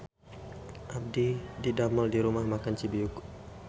Abdi didamel di Rumah Makan Cibiuk